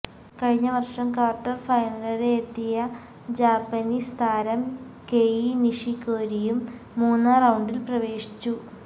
കഴിഞ്ഞവര്ഷം quarter ഫൈനല്വരെയെത്തിയ Japanese താരം Kei നിഷിക്കോരിയും മൂന്നാം റൌണ്ടില് പ്രവേശിച്ചു